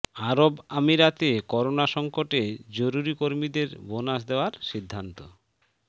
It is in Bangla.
আরব আমিরাতে করোনা সংকটে জরুরি কর্মীদের বোনাস দেওয়ার সিদ্ধান্ত